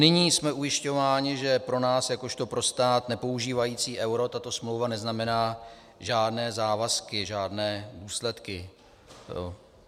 Nyní jsme ujišťováni, že pro nás jakožto pro stát nepoužívající euro tato smlouva neznamená žádné závazky, žádné důsledky.